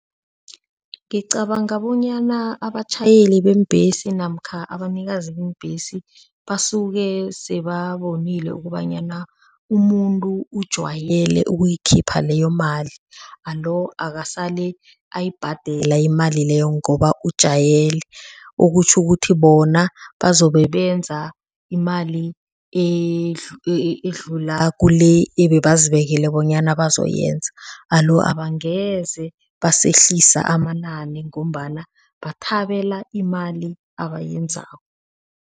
Ngicabanga bonyana abatjhayeli beembhesi namkha abanikazi beembhesi basuke sebabonile ukobanyana umuntu ujwayele ukuyikhipha leyo mali alo akasale ayibhadela imali leyo ngoba ujayele okutjho ukuthi bona bazobe benza imali edlula kule bazibekele bonyana bayokwenza alo angeze basehlisa amanani ngombana bathabela imali abayenzako.